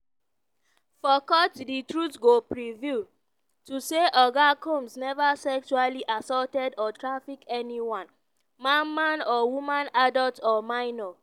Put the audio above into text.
"for court di truth go prevail: to say oga combs never sexually assaulted or traffic anyone - man man or woman adult or minor."